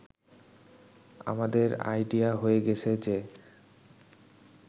“আমাদের আইডিয়া হয়ে গেছে যে